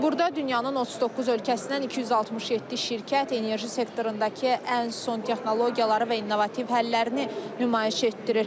Burda dünyanın 39 ölkəsindən 267 şirkət enerji sektorundakı ən son texnologiyaları və innovativ həllərini nümayiş etdirir.